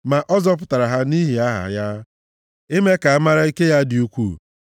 Ma ọ zọpụtara ha nʼihi aha ya, ime ka a mara ike ya dị ukwuu.